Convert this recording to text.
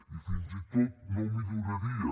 i fins i tot no milloraria